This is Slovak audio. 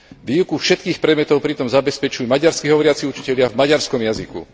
Výučbu všetkých predmetov pritom zabezpečujú maďarsky hovoriaci učitelia v maďarskom jazyku.